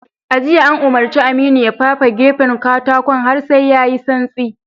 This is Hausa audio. A jiya, an umurci Aminu ya fafe gefun katakon har sai ya yi santsi.